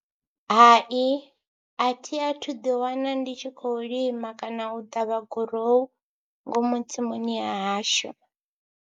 Hai athi athu ḓiwana ndi tshi khou lima kana u ṱavha gurowu ngomu tsimuni ya hashu.